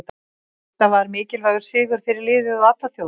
Þetta var mikilvægur sigur fyrir liðið og alla þjóðina.